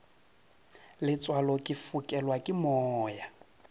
letswalo ke fokelwa ke moya